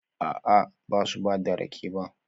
A'a, ba su ba da rake ba